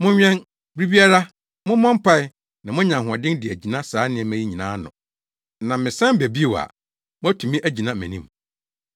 Monwɛn. Bere biara mommɔ mpae na moanya ahoɔden de agyina saa nneɛma yi nyinaa ano na mesan ba bio a, moatumi agyina mʼanim.”